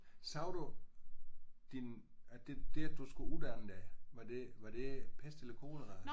Sagde du din at det at du skulle uddanne dig var det var det pest eller kolera?